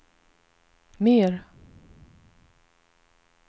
mer